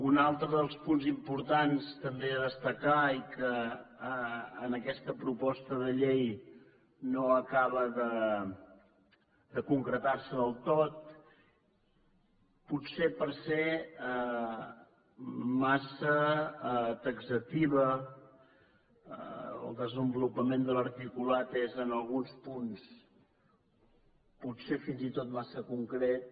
un altre dels punts importants també a destacar i que en aquesta proposta de llei no acaba de concretar se del tot potser perquè és massa taxativa el desenvolupament de l’articulat és en alguns punts potser fins i tot massa concret